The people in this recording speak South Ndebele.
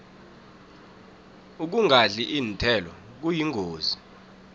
ukungadli iinthelo kuyingozi